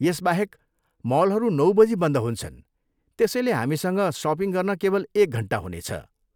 यसबाहेक, मलहरू नौ बजी बन्द हुन्छन् त्यसैले हामीसँग सपिङ गर्न केवल एक घन्टा हुनेछ।